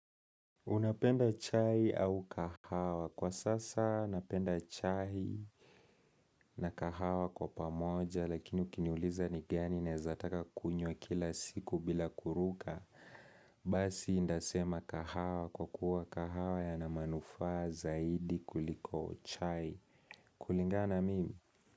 Unapenda chai au kahawa? Kwa sasa napenda chai na kahawa kwa pamoja lakini ukiniuliza ni gani naezataka kunywa kila siku bila kuruka. Basi nitasema kahawa kwa kuwa kahawa yana manufa zaidi kuliko chai kulingana mimi.